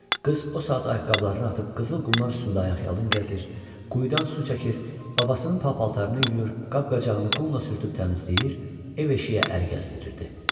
Qız o saat ayaqqabılarını atıb qızıl qumlar üstündə ayaqyalın gəzir, quyudan su çəkir, babasının pa-paltarını yuyur, qab-qacağını qumla sürtüb təmizləyir, ev-eşiyə əl gəzdirirdi.